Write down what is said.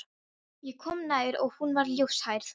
Ég kom nær og hún var ljóshærð.